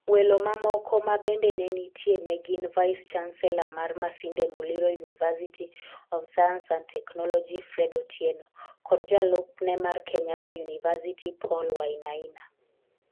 Welo mamoko ma bende ne nitie ne gin, Vice Chancellor mar Masinde Muliro University of Science and Technology, Fred Otieno, kod jalupne mar Kenyatta University, Paul Wainaina.